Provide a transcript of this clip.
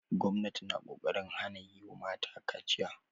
Gwamnati na ƙoƙarin hana yi ma mata kaciya.